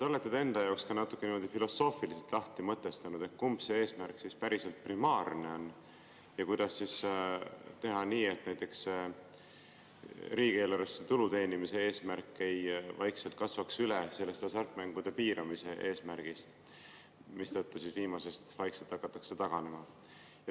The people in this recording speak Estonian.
Olete te enda jaoks ka niimoodi filosoofiliselt lahti mõtestanud, et kumb eesmärk siis päriselt primaarne on ja kuidas teha nii, et näiteks riigieelarvesse tulu teenimise eesmärk ei kasvaks üle sellest hasartmängude piiramise eesmärgist, mistõttu viimasest hakatakse vaikselt taganema?